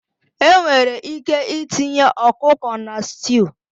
Enwere ike itinye ọkụkọ na stew